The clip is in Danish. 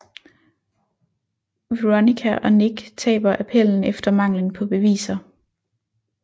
Veronica og Nick taber appellen efter manglen på beviser